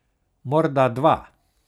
Morda dva.